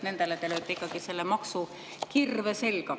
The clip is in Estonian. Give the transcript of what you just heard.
Nendele te lööte ikkagi selle maksukirve selga.